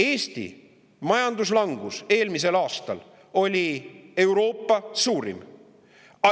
Eesti majanduslangus eelmisel aastal oli Euroopa suurim.